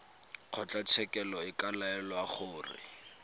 kgotlatshekelo e ka laela gore